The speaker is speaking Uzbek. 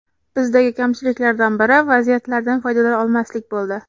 Bizdagi kamchiliklardan biri vaziyatlardan foydalana olmaslik bo‘ldi.